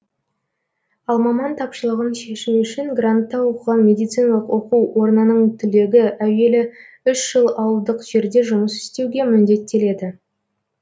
ал маман тапшылығын шешу үшін грантта оқыған медициналық оқу орнының түлегі әуелі үш жыл ауылдық жерде жұмыс істеуге міндеттеледі